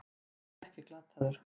Þú ert ekkert glataður.